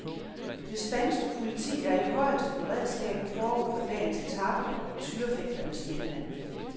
Det spanske politi er i højeste beredskab forud for dagens etape i tyrefægternes hjemland.